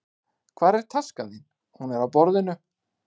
Hvar er taskan þín? Hún er á borðinu.